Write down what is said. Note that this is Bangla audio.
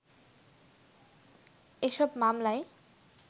এসব মামলায়